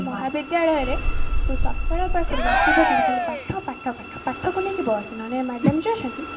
ମହାବିଦ୍ୟାଳୟରେ ତୁ ସକାଳ ପାଖରୁ ରାତି ପର୍ଯ୍ୟନ୍ତ ଖାଲି ପାଠ ପାଠ ପାଠ ପାଠକୁ ନେଇକି ବସ ନହଲେ madam ଯୋଉ ଅଛନ୍ତି